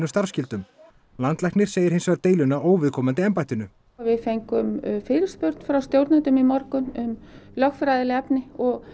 starfsskyldum landlæknir segir hins vegar deiluna óviðkomandi embættinu við fengum fyrirspurn frá stjórnendum í morgun um lögfræðileg efni